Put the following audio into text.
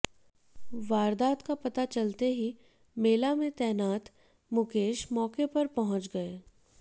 वारदात का पता चलते ही मेला में तैनात मुकेश मौके पर पहुंच गए